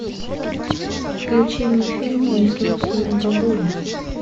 включи мне фильм несносная бабуля